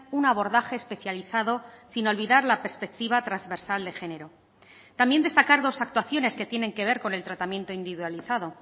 un abordaje especializado sin olvidar la perspectiva transversal de género también destacar dos actuaciones que tienen que ver con el tratamiento individualizado